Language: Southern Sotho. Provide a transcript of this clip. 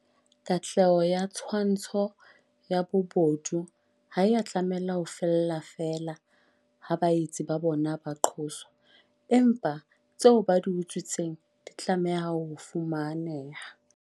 Katleho ya twantsho ya bobodu ha ea tlameha ho fella feela ha baetsi ba bona ba qoswa, empa tseo ba di utswitseng di tla tlameha ho fumaneha.